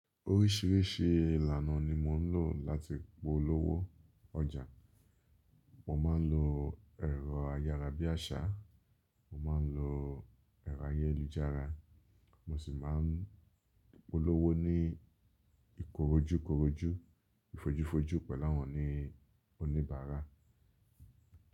Oríṣìíríṣìí ìlànà ni mo ń lò láti polówó ọjà. Mo máa ń lo ẹ̀rọ ayára bí àṣá, mo máa ń lo ẹ̀rọ ayélujára, mo sì máa ń polówó ní ìkorojúkorojú, ìfojúfojú pẹ̀lú àwọn oníbàárà.